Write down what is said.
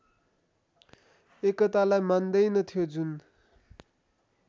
एकतालाई मान्दैन्थ्यो जुन